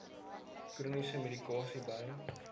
chroniese medikasie by